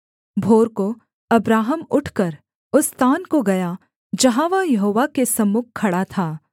भोर को अब्राहम उठकर उस स्थान को गया जहाँ वह यहोवा के सम्मुख खड़ा था